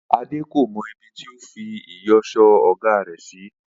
Adé kò mo̩ ibi tí ó fi ìyò̩s̩ó ò̩gá rè̩ sí